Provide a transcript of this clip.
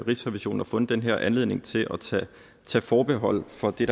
rigsrevisionen har fundet den her anledning til at tage forbehold for det